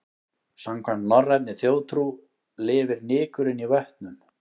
Samkvæmt norrænni þjóðtrú lifur nykurinn í vötnum.